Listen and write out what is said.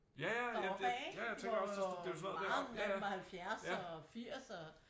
Deroppe af ikke hvor mange af dem var 70 og 80 og